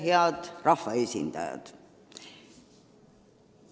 Head rahvaesindajad!